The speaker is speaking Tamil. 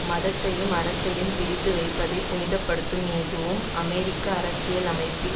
மதத்தையும் அரசையும் பிரித்து வைப்பதை புனிதப்படுத்தும் எதுவும் அமெரிக்க அரசியலமைப்பில்